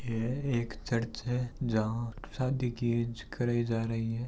ये एक चर्च है जहां शादी कीए ज कराई जा रही है।